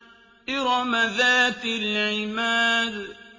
إِرَمَ ذَاتِ الْعِمَادِ